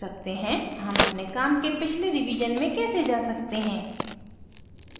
how अपने काम के पिछले रिवीजन में कैसे जा सकते हैं